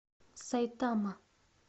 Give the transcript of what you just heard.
сайтама